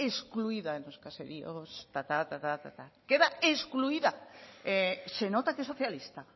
excluida los caseríos tata tata tata queda excluida se nota que es socialista